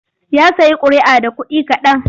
Ya sayi ƙuri'a da kuɗi kaɗan.